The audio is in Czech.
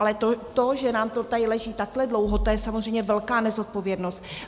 Ale to, že nám to tady leží takhle dlouho, to je samozřejmě velká nezodpovědnost.